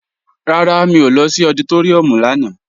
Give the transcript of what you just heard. Rárá, mi ò lọ sí ọditóríùm lánàá